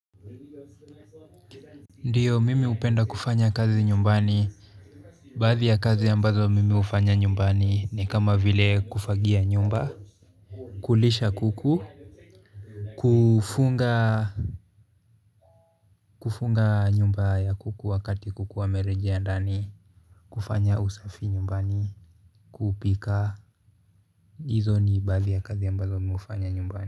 Ndiyo mimi hupenda kufanya kazi nyumbani baadhi ya kazi ambazo mimi hufanya nyumbani ni kama vile kufagia nyumba kulisha kuku kufunga nyumba ya kuku wakati kukuwa wamerejea ndani kufanya usafi nyumbani kupika hizo ni baadhi ya kazi ambazo mimi hufanya nyumbani.